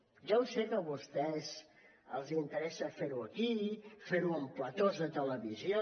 ja ho sé que a vostès els interessa fer ho aquí fer ho en platós de televisió